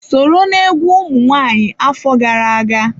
Sọrọ na-egwu ụmụ nwaanyị afọ gara aga.